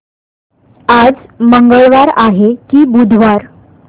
आज मंगळवार आहे की बुधवार